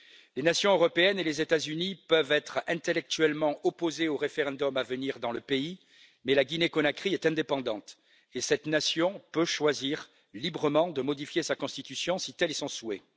Les nations européennes et les États Unis peuvent être intellectuellement opposés au référendum à venir dans le pays, mais la Guinée Conakry est indépendante et cette nation peut choisir librement de modifier sa constitution, si tel est son souhait.